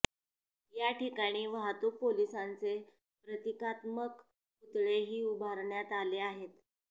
या ठिकाणी वाहतूक पोलिसांचे प्रतिकात्मक पुतळेही उभारण्यात आले आहेत